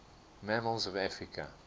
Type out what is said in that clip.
mammals of africa